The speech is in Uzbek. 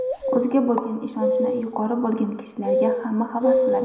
O‘ziga bo‘lgan ishonchi yuqori bo‘lgan kishilarga hamma havas qiladi.